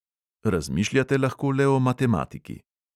Razmišljate lahko le o matematiki.